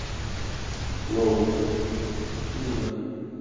ну ну да